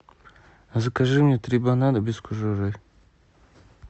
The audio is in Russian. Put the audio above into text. закажи мне три банана без кожуры